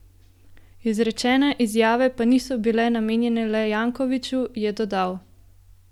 Izrečene izjave pa niso bile namenjene le Jankoviću, je dodal.